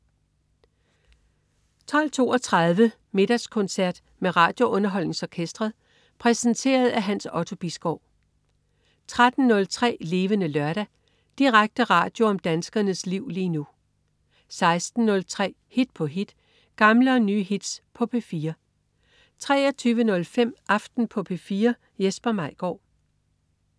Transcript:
12.32 Middagskoncert med RadioUnderholdningsOrkestret. Præsenteret af Hans Otto Bisgaard 13.03 Levende Lørdag. Direkte radio om danskernes liv lige nu 16.03 Hit på hit. Gamle og nye hits på P4 23.05 Aften på P4. Jesper Maigaard